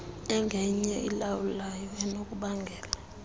engenye elawulayo enokubangela